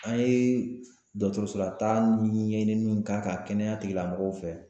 An ye dɔgɔtɔrɔsolataa ɲɛɲiniw k'a kan kɛnɛya tigilamɔgɔw fɛ